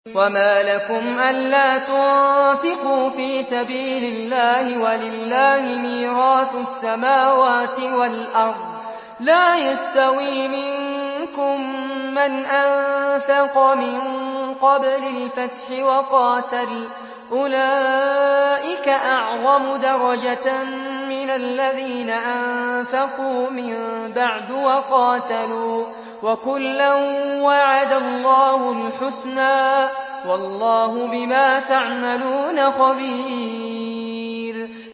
وَمَا لَكُمْ أَلَّا تُنفِقُوا فِي سَبِيلِ اللَّهِ وَلِلَّهِ مِيرَاثُ السَّمَاوَاتِ وَالْأَرْضِ ۚ لَا يَسْتَوِي مِنكُم مَّنْ أَنفَقَ مِن قَبْلِ الْفَتْحِ وَقَاتَلَ ۚ أُولَٰئِكَ أَعْظَمُ دَرَجَةً مِّنَ الَّذِينَ أَنفَقُوا مِن بَعْدُ وَقَاتَلُوا ۚ وَكُلًّا وَعَدَ اللَّهُ الْحُسْنَىٰ ۚ وَاللَّهُ بِمَا تَعْمَلُونَ خَبِيرٌ